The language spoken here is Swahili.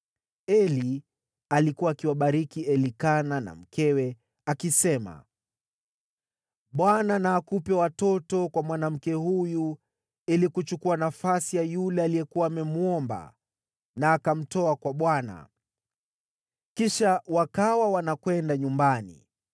Eli alikuwa akiwabariki Elikana na mkewe, akisema, “ Bwana na akupe watoto kwa mwanamke huyu ili kuchukua nafasi ya yule aliyekuwa amemwomba na akamtoa kwa Bwana .” Kisha wakawa wanakwenda nyumbani.